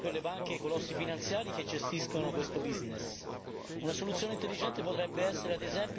favore dei cittadini e dei consumatori, non certo per le banche e i colossi finanziari che gestiscono questo business.